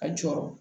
A jɔrɔ